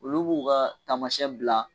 Olu b'u ka taamayɛn bila.